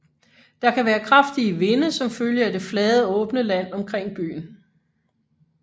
Der kan være kraftige vinde som følge af det flade åbne land omkring byen